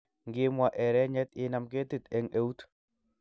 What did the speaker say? Ngimwaa erenyet inam ketit eng eut